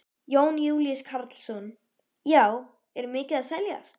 Jón Júlíus Karlsson: Já, er mikið að seljast?